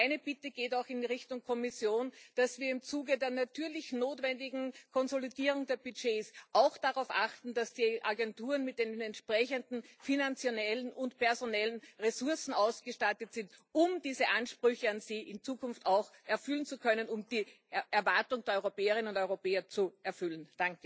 Meine Bitte geht auch in Richtung Kommission, dass wir im Zuge der natürlich notwendigen Konsolidierung der Budgets auch darauf achten, dass die Agenturen mit den entsprechenden finanziellen und personellen Ressourcen ausgestattet sind, um diese Ansprüche an sie in Zukunft auch erfüllen zu können und die Erwartung der Europäerinnen und Europäer zu erfüllen.